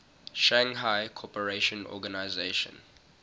shanghai cooperation organization